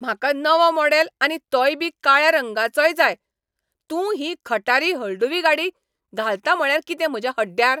म्हाका नवो मॉडेल आनी तोयबी काळ्या रंगाचोय जाय. तूं ही खटारी हळदुवी गाडी घालता म्हळ्यार कितें म्हज्या हड्ड्यार?